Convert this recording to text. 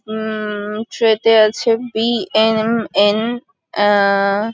উম- ট্রে -তে আছে বি.এন.এন. আ--